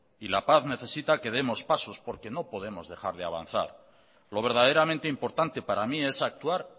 y la paz necesita que demos pasos porque no podemos dejar de avanzar lo verdaderamente importante para mí es actuar